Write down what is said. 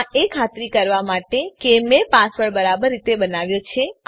આ એ ખાતરી કરવા માટે કે મેં પાસવર્ડ બરાબર રીતે બનાવ્યો છે